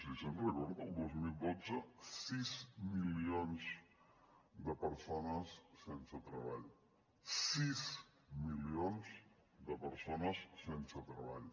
sí se’n recorda del dos mil dotze sis milions de persones sense treball sis milions de persones sense treball